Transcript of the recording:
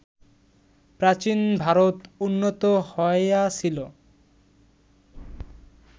প্রাচীন ভারত উন্নত হইয়াছিল